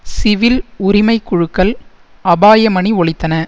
civil உரிமைக்குழுக்கள் அபாய மணி ஒலித்தன